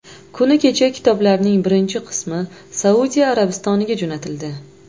Kuni kecha kitoblarning birinchi qismi Saudiya Arabistoniga jo‘natildi.